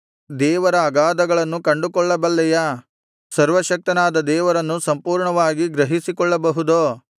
ದೇವರ ಅಗಾಧಗಳನ್ನು ಕಂಡುಕೊಳ್ಳಬಲ್ಲೆಯಾ ಸರ್ವಶಕ್ತನಾದ ದೇವರನ್ನು ಸಂಪೂರ್ಣವಾಗಿ ಗ್ರಹಿಸಿಕೊಳ್ಳಬಹುದೋ